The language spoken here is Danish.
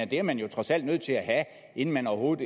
det er man jo trods alt nødt til at have inden man overhovedet